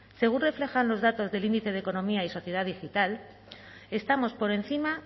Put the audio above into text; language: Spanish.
según reflejan los datos del índice de economía y sociedad digital estamos por encima